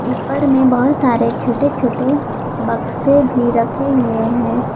ऊपर में बहोत सारे छोटे छोटे बक्से भी रखे हुए हैं।